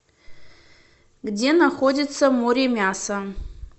где находится моремясо